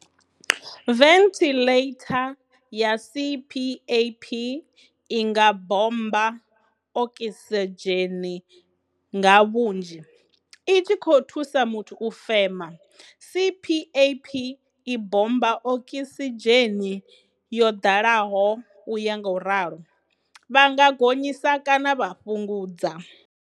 Venthiḽeitha ya CPAP i nga bommba okisidzheni nga vhunzhi, i tshi khou thusa muthu u fema. CPAP i bommba okisidzheni yo ḓalaho u ya ngauralo. Vha nga gonyisa kana vha fhungudza.